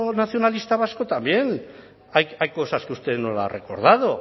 nacionalista vasco también hay cosas que usted no las ha recordado